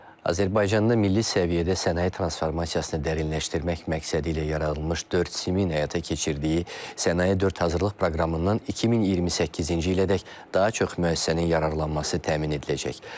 Azərbaycanda milli səviyyədə sənaye transformasiyasını dərinləşdirmək məqsədilə yaradılmış 4 SIM-in həyata keçirdiyi Sənaye 4 hazırlıq proqramından 2028-ci ilədək daha çox müəssisənin yararlanması təmin ediləcək.